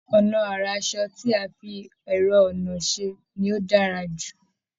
Ọnà ara aṣọ tí a fi ẹ̀rọ-ọnà ṣe ni ó dára jù